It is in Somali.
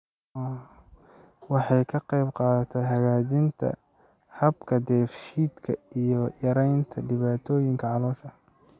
Waxay ka qaybqaadataa hagaajinta habka dheef-shiidka iyo yaraynta dhibaatooyinka caloosha.